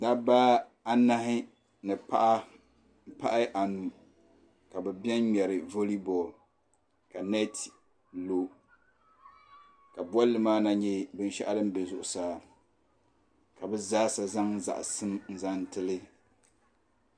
Dabba anahi ni paɣi m-pahi anu ka biɛni ŋmari vole bɔl ka nɛt lo ka bolli maa na yɛ bin shɛɣu din bɛ zuɣusaa ka bi zaa sa zaŋ zaɣisim n zaŋ ti li.